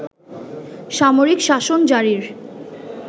সামরিক শাসন জারির